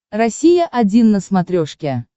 россия один на смотрешке